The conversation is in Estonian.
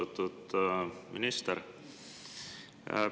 Austatud minister!